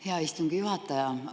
Hea istungi juhataja!